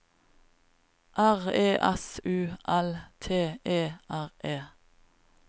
R E S U L T E R E